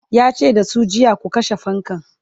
yace da su jiya"ku kashe fankan!'